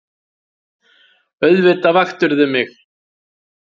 Auðvitað vaktirðu mig.